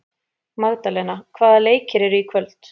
Magdalena, hvaða leikir eru í kvöld?